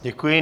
Děkuji.